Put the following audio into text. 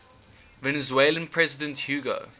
venezuelan president hugo